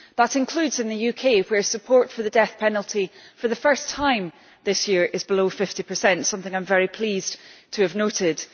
That includes in the UK, where support for the death penalty for the first time this year is below 50 something I am very pleased to have noted.